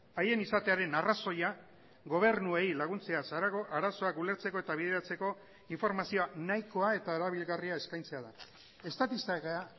haien izatearen arrazoia gobernuei laguntzeaz harago arazoak ulertzeko eta bideratzeko informazioa nahikoa eta erabilgarria eskaintzea da estatistika